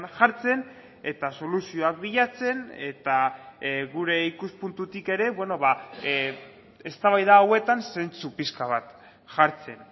jartzen eta soluzioak bilatzen eta gure ikuspuntutik ere eztabaida hauetan zentzu pixka bat jartzen